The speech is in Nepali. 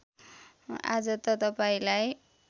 आज त तपाईँलाई